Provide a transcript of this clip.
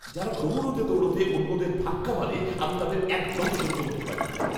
যারা দৌড়তে দৌড়তে অন্যদের ধাক্কা মারে আমি তাদের একদম সহ্য করতে পারি না!